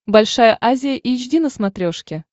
большая азия эйч ди на смотрешке